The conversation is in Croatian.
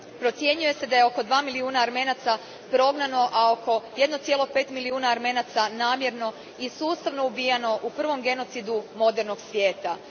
Procjenjuje se da je oko 2 milijuna Armenaca prognano, a oko 1,5 milijuna Armenaca namjerno i sustavno ubijano u prvom genocidu modernog svijeta.